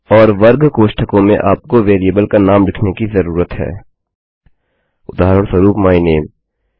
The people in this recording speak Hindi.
और वर्ग कोष्ठकों में आपको वेरिएबल का नाम लिखने की जरूरत है उदाहरणस्वरूप माय नामे